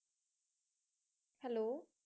hello